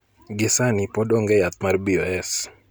Gi sani pod ong'e yath mar BOS